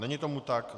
Není tomu tak.